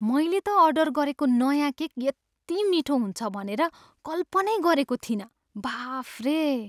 मैले त अर्डर गरेको नयाँ केक यति मिठो हुन्छ भनेर कल्पनै गरेको थिइनँ! बाफरे!